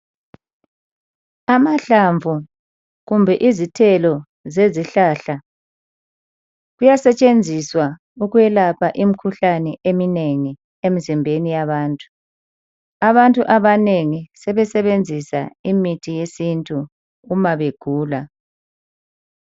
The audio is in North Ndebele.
Amahlamvu kumbe izithelo zezihlahla, kuyasetshenziswa ukwelapha imikhuhlane eminengi emzimbeni yabantu. Abantu abanengi sebesebenzisa imithi yesintu uma begula.